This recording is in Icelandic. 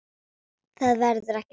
Það verður ekki strax